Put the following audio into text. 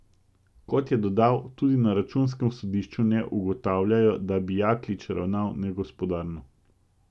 Kot je dodal, tudi na računskem sodišču ne ugotavljajo, da bi Jaklič ravnal negospodarno.